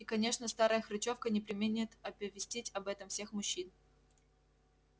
и конечно старая хрычовка не преминет оповестить об этом всех мужчин